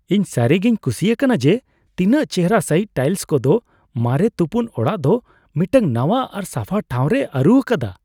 ᱤᱧ ᱥᱟᱹᱨᱤᱜᱮᱧ ᱠᱩᱥᱤ ᱟᱠᱟᱱᱟ ᱡᱮ ᱛᱤᱱᱟᱹᱜ ᱪᱮᱦᱚᱨᱟ ᱥᱟᱹᱦᱤᱡ ᱴᱟᱭᱤᱞ ᱠᱚᱫᱚ ᱢᱟᱨᱮ ᱛᱩᱯᱩᱱ ᱚᱲᱟᱜ ᱫᱚ ᱢᱤᱫᱴᱟᱝ ᱱᱟᱣᱟ ᱟᱨ ᱥᱟᱯᱷᱟ ᱴᱷᱟᱶ ᱨᱮᱭ ᱟᱹᱨᱩ ᱟᱠᱟᱫᱟ ᱾